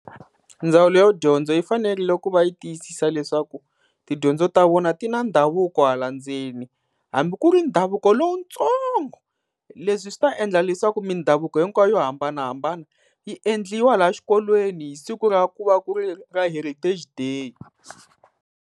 Ndzawulo ya dyondzo yi fanerile ku va yi tiyisisa leswaku tidyondzo ta vona ti na ndhavuko hala ndzeni, hambi ku ri ndhavuko lowutsongo. Leswi swi ta endla leswaku mindhavuko hinkwayo yo hambanahambana yi endliwa laha xikolweni hi siku ra ku va ku ri ra heritage day.